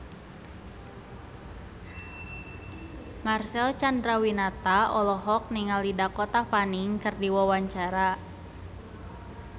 Marcel Chandrawinata olohok ningali Dakota Fanning keur diwawancara